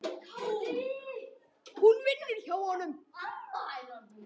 Hún vinnur hjá honum.